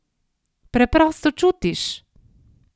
Preprosto čutiš!